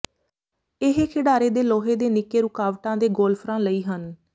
ਇਹ ਖਿਡਾਰੇ ਦੇ ਲੋਹੇ ਦੇ ਨਿੱਕੇ ਰੁਕਾਵਟਾਂ ਦੇ ਗੋਲਫਰਾਂ ਲਈ ਹਨ